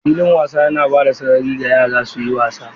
Filin wasa yana ba da sarari ga yara su yi wasa.